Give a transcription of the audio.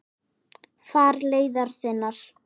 Far leiðar þinnar.